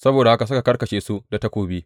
Saboda haka suka karkashe su da takobi.